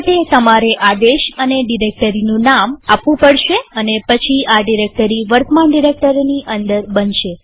આ માટે તમારે આદેશ અને ડિરેક્ટરીનું નામ આપવું પડશે અને પછી આ ડિરેક્ટરી વર્તમાન ડિરેક્ટરીની અંદર બનશે